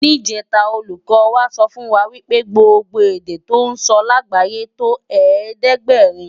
Nijètá ólúkò wá sòfúnwá wipé gbógbó èdè tò nsò lágbáyé tó ẹ̀ẹ́dẹ́ɡbarin